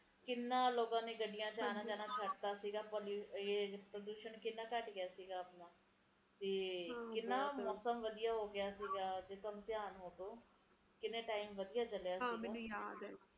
ਹੁਣ ਤਾ ਕਰਨੀ ਪੈਂਦੀ ਆ ਕੇ ਗਰਮੀ ਦੇ ਮਹੀਨੇ ਖਤਮ ਹੋਣਗੇ ਕਿ ਨਹੀਂ ਜੇ ਇੱਦਾ ਹੀ ਹਾਲ ਰਹੇ ਤਾ ਇੱਕੋ ਹੀ ਮਹੀਨਾ ਰਹਿ ਜਾਣਾ ਠੰਡ ਦਾ ਜਨਵਰੀ ਦਾ ਤੇ ਬਾਕੀ ਦੇ ਪੂਰੇ ਦੇ ਪੂਰੇ ਗਿਆਰਹ ਮਹੀਨੇ ਗਰਮੀ ਦੇ ਰਹਿ ਜਾਣਗੇ